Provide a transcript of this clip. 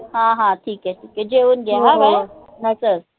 हा हा ठीक काय ठीक काय जेऊन हा चल